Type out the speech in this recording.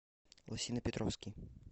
лосино петровский